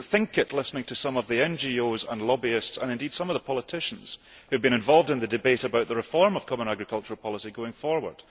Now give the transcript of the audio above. You would not think it listening to some of the NGOs and lobbyists and, indeed, some of the politicians who have been involved in the debate about the reform of the common agricultural policy going forward.